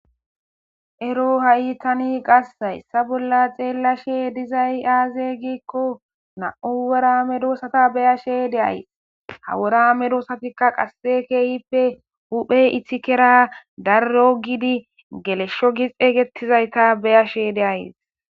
Ero ha7itani qassayssa bolla xeellashe dizay aaze giikko na7u wora medoosata beyashe de ays hawora medoosatikka qasse keeyippe huphe ithikera darro giidi geleshsho gixeygettizayta beyashe de ays